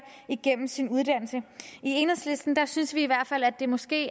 igennem sin uddannelse i enhedslisten synes vi i hvert fald at det måske